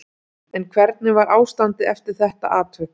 En hvernig var ástandið eftir þetta atvik?